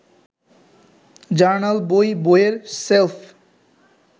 journal, বই, বইয়ের shelf